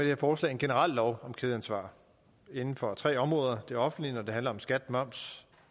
her forslag en generel lov om kædeansvar inden for tre områder det offentlige når det handler om skat moms